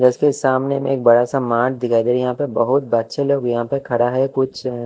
इसके सामने में एक बड़ा सा मार्ट दिखाई दे रहा यहां पे बहुत बच्चे लोग भी यहां पे खड़ा है कुछ--